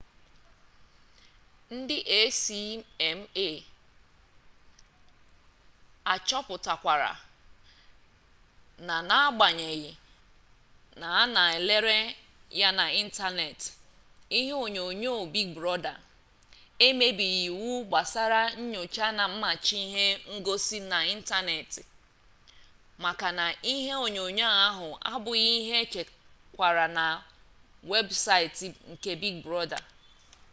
ndi acma chọpụtarakwara na n'agbanyeghị na a na elere ya n'ịntaneetị ihe onyonyoo big brọda emebighị iwu gbasara nyocha na mmachi ihe ngosi n'ịntaneetị maka na ihe onyonyoo ahụ abụghị ihe echekwara na webụsaịtị nke big brọda